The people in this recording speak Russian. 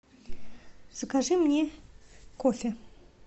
закажи мне кофе